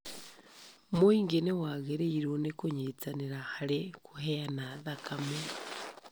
Mũingĩ nĩwagĩrĩirwo nĩ kũnyitanĩra harĩ kũheana thakame